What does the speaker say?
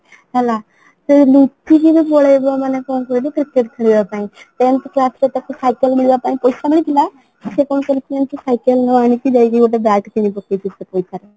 ହେଲା ତ ନ କହି କି ପଳେଇଲା ମାନେ କ'ଣ କହିଲୁ cricket ଖେଳିବା ପାଇଁ ତ ଏମିତି class ରେ ତାକୁ cycle କିଣିବା ପାଇଁ ପଇସା ମିଳିଥିଲା ସେ କ'ଣ କରିଛି ନା ସିଏ cycle ନ ଆଣିକି ଯାଇକି ଗୋଟେ bike କିଣିପକେଇଛି ସେ ପଇସା ରେ